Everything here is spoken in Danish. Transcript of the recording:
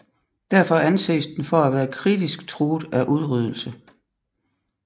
Derfor anses den for at være kritisk truet af udryddelse